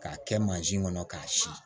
K'a kɛ mansin kɔnɔ k'a si